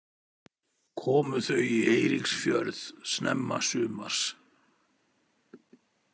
Komu þau í Eiríksfjörð snemma sumars.